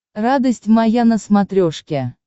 радость моя на смотрешке